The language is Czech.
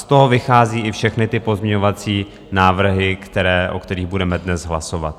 Z toho vychází i všechny ty pozměňovací návrhy, o kterých budeme dnes hlasovat.